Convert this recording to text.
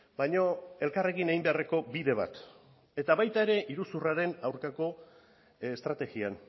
baina elkarrekin egin beharreko bide bat eta baita ere iruzurraren aurkako estrategian